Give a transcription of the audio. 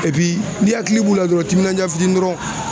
n'i hakili b'u la dɔrɔn timinanja fitiinin dɔrɔn.